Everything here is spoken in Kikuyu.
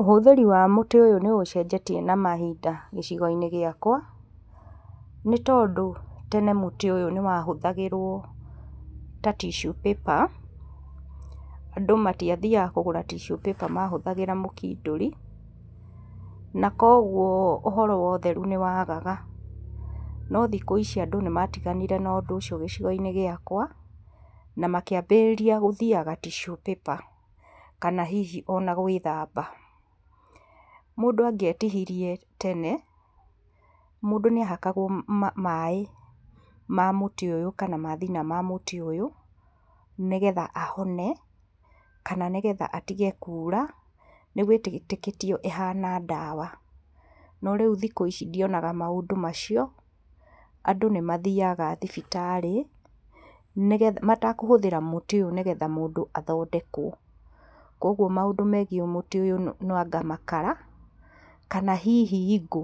Ũhũthĩri wa mũtĩ ũyũ nĩ ũcenjetie na mahinda gĩcigo-inĩ gĩakwa, nĩtondũ tene mũtĩ ũyũ nĩ wahũthagĩrwo ta tissue paper, andũ matiathiaga kũgũra tissue paper mahũthagĩra mũkindũri, na koguo ũhoro wa ũtheru nĩwagaga. No thikũ ici andũ nĩ matiganire na ũndũ ũcio gĩcigo-inĩ gĩakwa, na makĩambĩrĩria gũthiaga tissue paper kana hii ona gwĩthamba. Mũndũ angĩetihire tene, mũndũ nĩahakagwo maĩ ma mũtĩ ũyũ kana mathina ma mũtĩ ũyũ, nĩgetha ahone kana nĩgetha atige kura, nĩ gwetĩkĩtio ĩhana ndawa. No rĩu thikũ ici ndionaga maũndũ macio andũ nĩ mathiaga thibitarĩ, nĩgetha matakũhũthĩra mũtĩ ũyũ nĩgetha mũndũ athondekwo. Koguo maũndũ megiĩ mũtĩ ũyũ no anga makara kana hihi ngũ,